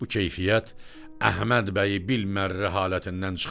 Bu keyfiyyət Əhməd bəyi bilmərrə halətindən çıxarır.